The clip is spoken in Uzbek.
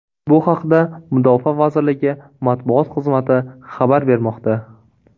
Bu haqda Mudofaa vazirligi matbuot xizmati xabar bermoqda .